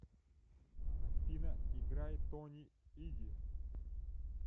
афина играй тони иги